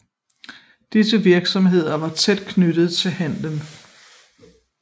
Disse virksomheder var tæt knyttede til handelen